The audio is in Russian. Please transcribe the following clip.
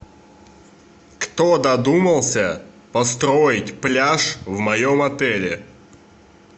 кто додумался построить пляж в моем отеле